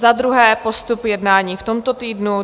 Za druhé postup jednání v tomto týdnu.